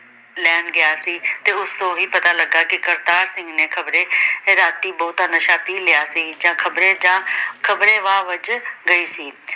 ਲੈਣ ਗਿਆ ਸੀ ਤੇ ਉਸਤੋਂ ਇਹ ਵੀ ਪਤਾ ਲਗਾ ਕੇ ਕਰਤਾਰ ਸਿੰਘ ਨੇ ਖ਼ਬਰੇ ਰਾਤੀ ਬਹੁਤ ਨਸ਼ਾ ਪੀ ਲਿਆ ਸੀ ਜਾਂ ਖ਼ਬਰੇ ਜਾਂ ਖ਼ਬਰੇ ਵਾਹ ਵੱਜ ਗਈ ਸੀ।